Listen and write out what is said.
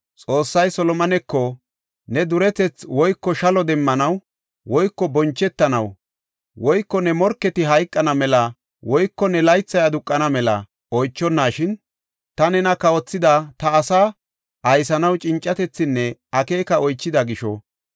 Xoossay Solomoneko, “Ne duretethi woyko shalo demmanaw woyko bonchetanaw woyko ne morketi hayqana mela woyko ne laythay aduqana mela oychonashin ta nena kawothida ta asaa aysanaw cincatethinne akeeka oychida gisho,